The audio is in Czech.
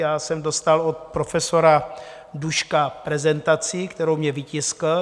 Já jsem dostal od profesora Duška prezentaci, kterou mně vytiskl.